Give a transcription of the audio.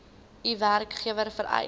u werkgewer vereis